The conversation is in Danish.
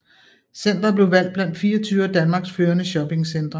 Centret blevet valgt blandt 24 af Danmarks førende shoppingcentre